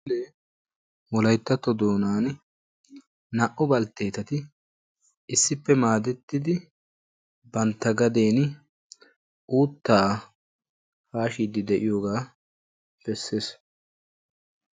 Wolayttatto doonan naa"u balttetati issippe maadettidi bantta gadeni uuttaa haashshiidi de'iyoogaa bessees.